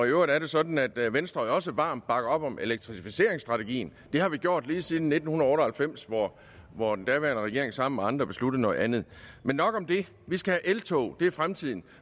øvrigt er det sådan at venstre jo også varmt bakker op om elektrificeringsstrategien det har vi gjort lige siden nitten otte og halvfems hvor den daværende regering sammen med andre besluttede noget andet men nok om det vi skal have eltog det er fremtiden